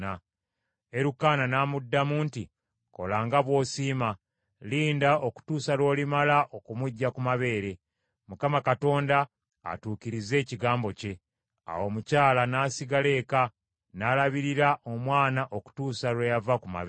Erukaana n’amuddamu nti, “Kola nga bw’osiima. Linda okutuusa lw’olimala okumuggya ku mabeere; Mukama Katonda atuukirize ekigambo kye.” Awo omukyala n’asigala eka, n’alabirira omwana okutuusa lwe yava ku mabeere.